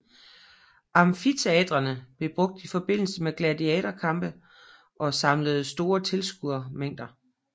Amfiteatrerne blev brugt i forbindelse med gladiatorkampe og samlede store tilskuermængder